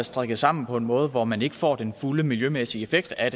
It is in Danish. strikket sammen på en måde hvor man ikke får den fulde miljømæssige effekt af